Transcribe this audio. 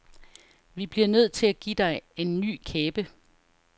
Vi bliver nødt til at give dig en ny kæbe.